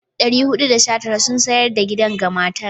419 sun sayar da gidan ga matar.